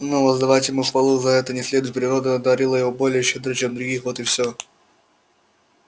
но воздавать ему хвалу за это не следует природа одарила его более щедро чем других вот и все